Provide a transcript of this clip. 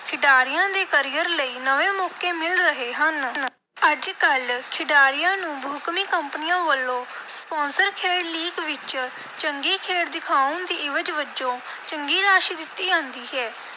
ਖਿਡਾਰੀਆਂ ਦੇ career ਲਈ ਨਵੇਂ ਮੌਕੇ ਮਿਲ ਰਹੇ ਹਨ। ਅੱਜ-ਕੱਲ੍ਹ ਖਿਡਾਰੀਆਂ ਨੂੰ ਬਹੁਕੌਮੀ ਕੰਪਨੀਆਂ ਵੱਲੋਂ sponsor ਖੇਡ league ਵਿਚ ਚੰਗੀ ਖੇਡ ਦਿਖਾਉਣ ਦੀ ਇਵਜ਼ ਵਜੋਂ ਚੰਗੀ ਰਾਸ਼ੀ ਦਿੱਤੀ ਜਾਂਦੀ ਹੈ,